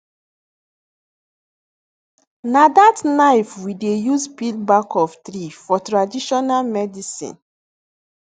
na that knife we dey use peel back of tree for traditional medicine